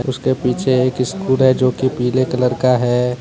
उसके पीछे एक स्कूल है जो कि पीले कलर का है।